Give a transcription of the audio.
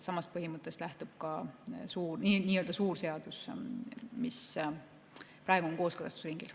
Samast põhimõttest lähtub ka nii-öelda suur seadus, mis praegu on kooskõlastusringil.